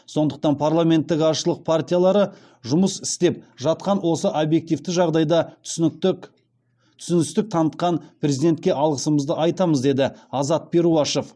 сондықтан парламенттік азшылық партиялары жұмыс істеп жатқан осы объективті жағдайда түсіністік танытқан президентке алғысымызды айтамыз деді азат перуашев